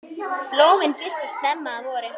Blómin birtast snemma að vori.